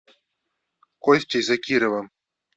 костей закировым